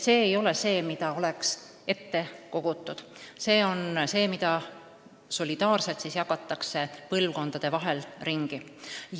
See ei ole raha, mida on ette kogutud, see on raha, mida solidaarselt jagatakse põlvkondade vahel ringi.